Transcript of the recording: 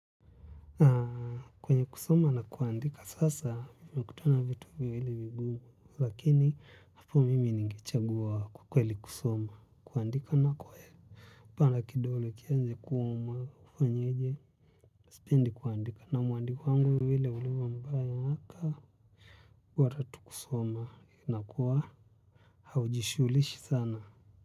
Kwenye kusoma na kuandika sasa nimekutana vitu viwili vigumu lakini hapo mimi ningechagua kwa kweli kusoma kuandika na kwe Kupala kidolo kianze kuomwa ufanyije. Sipendi kuandika na mwandiko wangu vile ulivyo mbaya aa. Wa tatu kusoma na kuwa haujishugulishi sana.